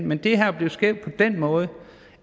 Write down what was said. men det her bliver skævt på den måde